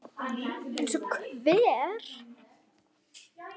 Eins og hver?